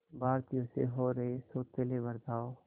भारतीयों से हो रहे सौतेले बर्ताव